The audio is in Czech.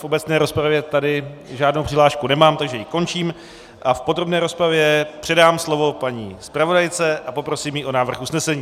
V obecné rozpravě tady žádnou přihlášku nemám, takže ji končím a v podrobné rozpravě předám slovo paní zpravodajce a poprosím ji o návrh usnesení.